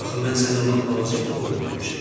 Axı mən sənə lap balaca bir qoyun vermişəm.